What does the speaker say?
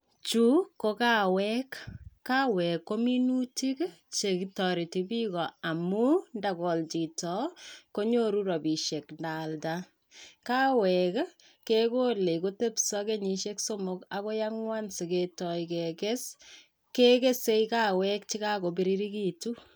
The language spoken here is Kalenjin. Chuu ko kawek kawek ko minutik chekitoretipiko amun itakol chito konyoru rabishe itaalda, kawek kekole kotepso kenyishek somok akoi angwan siketoi kekes kekese kawek chekokobirirekitu.